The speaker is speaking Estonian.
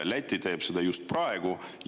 Läti teeb seda just praegu.